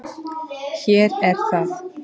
Hér er það.